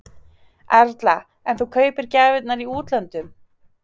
Erla: En þú kaupir gjafirnar í útlöndum?